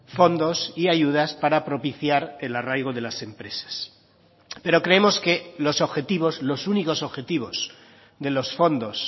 fondos y ayudas para propiciar el arraigo de las empresas pero creemos que los objetivos los únicos objetivos de los fondos